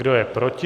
Kdo je proti?